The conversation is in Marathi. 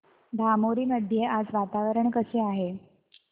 धामोरी मध्ये आज वातावरण कसे आहे